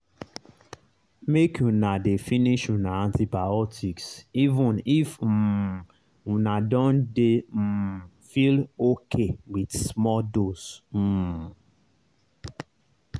make una dey finish una antibiotics even if um una don dey um feel okay with small dose. um